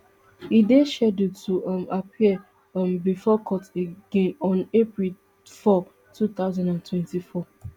e dey scheduled to um appear um before court again on april four two thousand and twenty-four